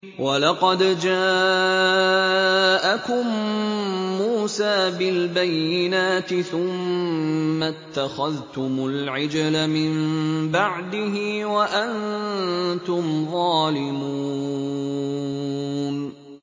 ۞ وَلَقَدْ جَاءَكُم مُّوسَىٰ بِالْبَيِّنَاتِ ثُمَّ اتَّخَذْتُمُ الْعِجْلَ مِن بَعْدِهِ وَأَنتُمْ ظَالِمُونَ